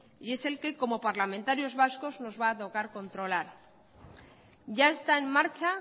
y es el que como parlamentarios vascos nos va a tocar controlar ya está en marcha